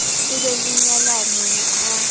ho be le nyalano ha